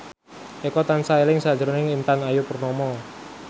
Eko tansah eling sakjroning Intan Ayu Purnama